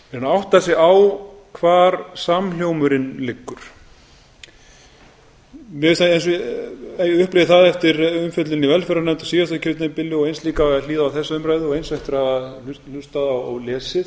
menn átti sig á hvar samhljómurinn liggur ef ég upplifi það eftir umfjöllun í velferðarnefnd á síðasta kjörtímabili og eins líka við að hlýða á þessa umræðu og eins eftir að hafa hlustað og lesið